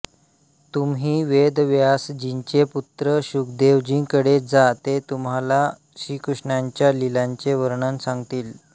तुम्ही वेदव्यासजींचे पुत्र शुकदेवजींकडे जा ते तुम्हाला श्रीकृष्णांच्या लिलांचे वर्णन सांगतील